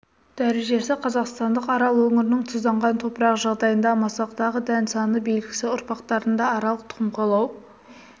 дәрежесі қазақстандық арал өңірінің тұзданған топырақ жағдайында масақтағы дән саны белгісі ұрпақтарында аралық тұқым қуалау